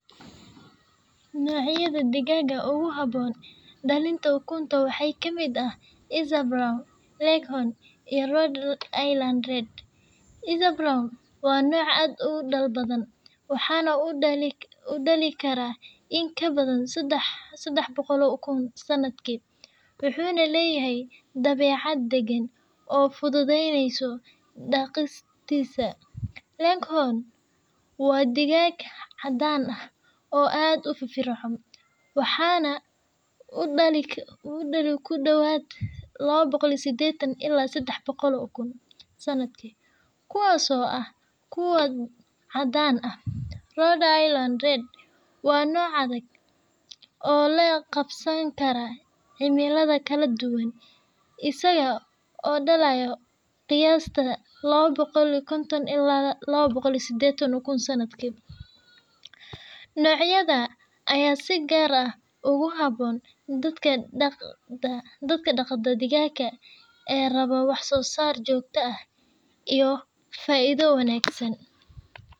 Nocyada digaka ogu habon dalonta ugunta waxay kamid ah izea brown loke hon iyo linad red, izea brown wa noca ad igu dal badan. waxa na udali karah in ka badan saax baqor oo ugun sanadki, waxuna layahay dawacad dagan oo fududaynasoh daqista laghome wa digaka cadan ah oo aad ufifircon waxana udali ku dowad, 280 ila iyo saxda 300 ukun sanadki, kuwas oo ah kuwa cadan ah lind red wa noc adag, oo loqansani kara cimada kale dugan asaga odalayo qiyasta 250 ila 280 ukun sanadki, nocyada aya si gar ah ogu habon dadka daqdo digaka aa rabo wax sosar jogta ah iyo faido wagsan.